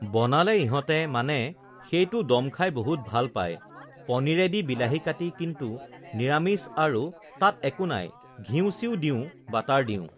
বনালে ইহঁতে মানে সেইটো ডম খাই বহুত ভাল পায় পনীৰেদি বিলাহি কাটি কিন্তু নিৰামিষ আৰু তাত একো নাই, ঘিঁউ চিউ দিওঁ বাটাৰ দিওঁ